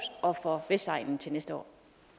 og for vestegnen til næste år